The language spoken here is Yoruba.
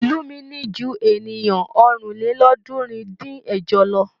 Ìlú mi ní ju ènìyàn ọ̀rìnlélọ́ọ̀ọ́dúnrún-dín-ẹ̀jọ lọ.